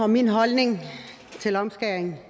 min holdning til omskæring